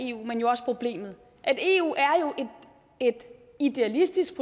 eu men også problemet eu er et idealistisk